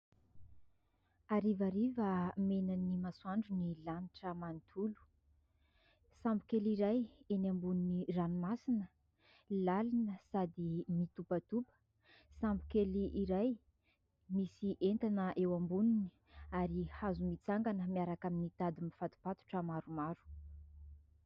Harivariva menan'ny masoandro ny lanitra manontolo. Sambo kely iray eny ambony ranomasina lalina sady mitopatopa. Sambo kely iray misy entana eo amboniny ary hazo mitsangana miaraka amin'ny tady mifato-patotra maromaro.